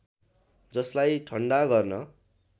जसलाई ठन्डा गर्न